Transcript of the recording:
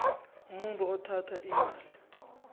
umuntu othatha imali